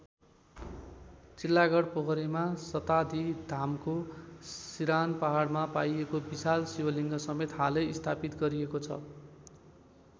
चिल्लागढ पोखरीमा सतासीधामको सिरान पहाडमा पाइएको विशाल शिवलिङ्ग समेत हालै स्थापित गरिएको छ।